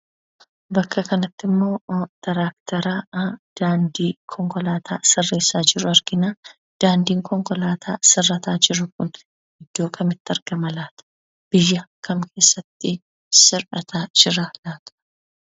Bakka kanatti ammoo "tiraaktara" daandii konkoolaataa sirreessa jiru argina. Daandii konkolaataa sirrataa jiru kun iddoo kamittii argama laata? Biyya kam keessatti sirrataa jira laata?